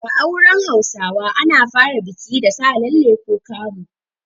A auren Hausawa ana fara biki da Sa lalle ko kamu.